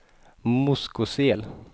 Moskosel